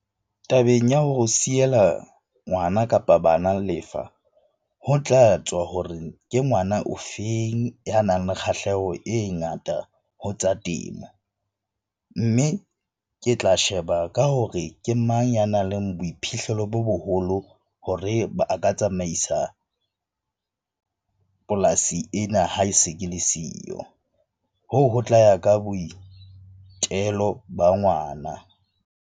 Tabeng ya ho siela ngwana kapa bana lefa ho tla tswa ho re ke ngwana o feng ya nang le kgahleho e ngata ho tsa temo. Mme ke tla sheba ka hore ke mang ya nang le boiphihlelo bo boholo hore a ka tsamaisa polasi ena ha e se ke le siyo. Hoo ho tla ya ka boitelo ba ngwana.